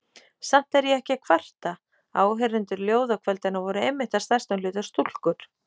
Samt er ég ekki að kvarta: áheyrendur ljóðakvöldanna voru einmitt að stærstum hluta stúlkur.